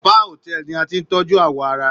Spa Hotel ni a ti n tọjú awọ ara.